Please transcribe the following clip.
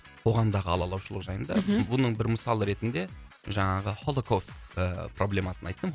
оған дағы алалаушылық жайында бұның бір мысалы ретінде жаңағы холокост ыыы проблемасын айттым